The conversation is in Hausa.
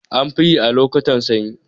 Anfiyi a lokotan sanyi